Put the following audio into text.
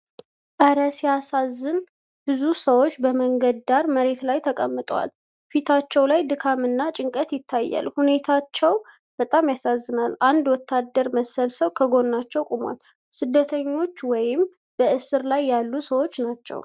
እረ ሲያሳዝን! ብዙ ሰዎች በመንገድ ዳር መሬት ላይ ተቀምጠዋል። ፊቶቻቸው ላይ ድካምና ጭንቀት ይታያል፣ ሁኔታቸው በጣም ያሳዝናል። አንድ ወታደር መሰል ሰው ከጎናቸው ቆሟል። ስደተኞች ወይም በእስር ስር ያሉ ሰዎች ናቸው።